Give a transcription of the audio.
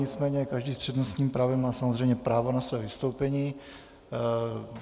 Nicméně každý s přednostním právem má samozřejmě právo na své vystoupení.